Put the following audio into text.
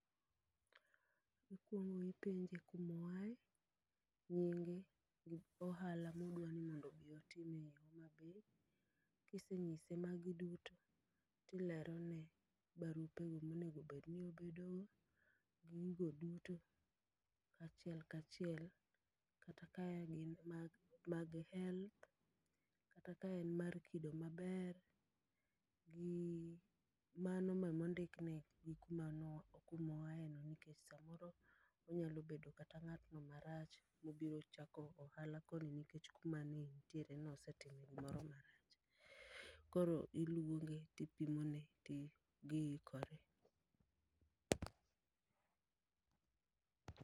Akwongo ipenje kumo ae, nyinge gi ohala modwani mondo obi otim ei Homa Bay. Kisenyise mago duto, tilerone barupe go monegobedni obedogo. Gigo duto kachiel kachiel kata ka en gin mag health, kata kaen mar kido maber, gi mano ma mondik ne gi kuma no kumoae no. Nikech samoro onyalo bedo kata ng'atno marach mobiro chako ohala koni nikech kuma ne entiere no osetime gimoro marach. Koro iluonge tipimo ne ti giikore.